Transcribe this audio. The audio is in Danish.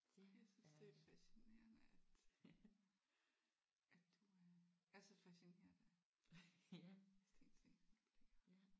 Ej jeg synes det er fascinerende at at du øh er så fascineret af Steen Steensen Blicher